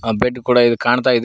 ಅ bed ಕೂಡ ಇದ ಕಾಣ್ತಾಇದೆ.